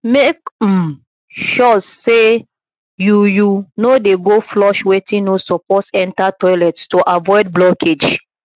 mek um sure say yu yu no dey go flush wetin no soppose enta toilet to avoid blockage